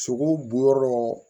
Sogow bonyɔrɔ